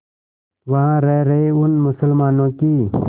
वहां रह रहे उन मुसलमानों की